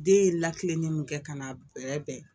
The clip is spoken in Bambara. Den ye lakile mun kɛ ka n'a bɛrɛ bɛn